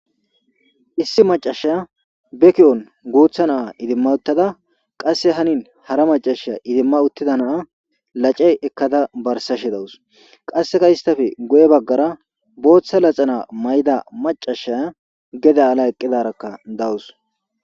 Issi macasha beki7on guutha naa idimma uttada qasse hanin hara macasha idimma uttida naa lacey ekkada barsashe dawus qasseka istafe guye baggara booththa laxana may7da macashaya geda ala eqqidarakka dawus